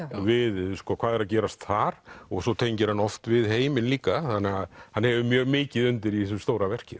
við hvað er að gerast þar og svo tengir hann oft við heiminn líka þannig að hann hefur mjög mikið undir í þessu stóra verki